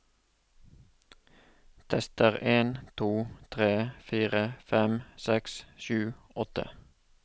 Tester en to tre fire fem seks sju åtte